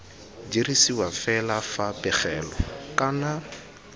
dirisiwa fela fa pegelo kana